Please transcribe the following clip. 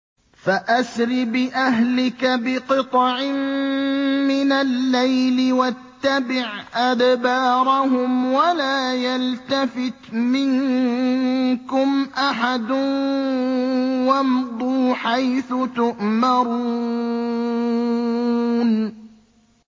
فَأَسْرِ بِأَهْلِكَ بِقِطْعٍ مِّنَ اللَّيْلِ وَاتَّبِعْ أَدْبَارَهُمْ وَلَا يَلْتَفِتْ مِنكُمْ أَحَدٌ وَامْضُوا حَيْثُ تُؤْمَرُونَ